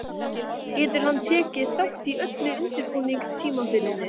Getur hann tekið þátt í öllu undirbúningstímabilinu?